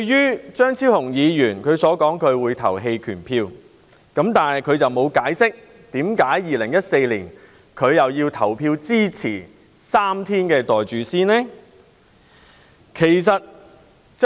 此外，張超雄議員說會在表決時棄權，但他沒有解釋為何在2014年支持3天侍產假及"袋住先"。